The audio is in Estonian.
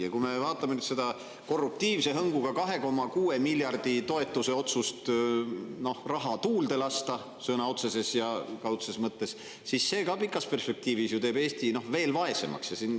Ja kui me vaatame nüüd seda korruptiivse hõnguga 2,6 miljardi eurose toetuse otsust, et raha tuulde lasta – sõna otseses ja kaudses mõttes –, siis see ka teeb ju pikas perspektiivis Eesti veel vaesemaks.